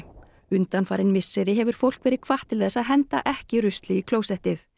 undanfarin misseri hefur fólk verið hvatt til þess að henda ekki rusli í klósettið